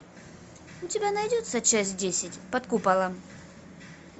у тебя найдется часть десять под куполом